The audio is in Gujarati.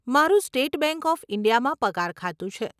મારું સ્ટેટ બેંક ઓફ ઇન્ડિયામાં પગાર ખાતું છે.